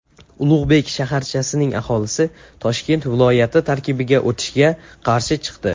Ulug‘bek shaharchasining aholisi Toshkent viloyati tarkibiga o‘tishga qarshi chiqdi.